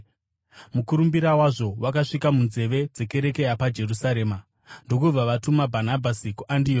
Mukurumbira wazvo wakasvika munzeve dzekereke yapaJerusarema, ndokubva vatuma Bhanabhasi kuAndioki.